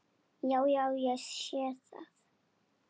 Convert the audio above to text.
Já, já. ég sé það.